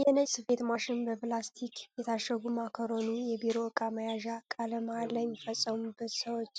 የነጭ ስፌት ማሽን፣ በፕላስቲክ የታሸገ ማካሮኒ፣ የቢሮ ዕቃ መያዣ፣ ቃለ መሐላ የሚፈጽሙ ሰዎች፣